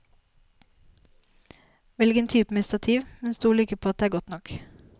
Velg en type med stativ, men stol ikke på at det er godt nok.